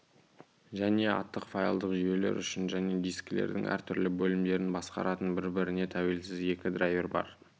және атты файлдық жүйелер үшін және дискілердің әр түрлі бөлімдерін басқаратын бір-біріне тәуелсіз екі драйвер бар